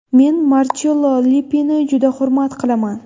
Men Marchello Lippini juda hurmat qilaman.